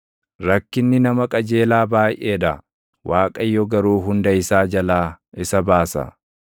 Rakkinni nama qajeelaa baayʼee dha; Waaqayyo garuu hunda isaa jalaa isa baasa;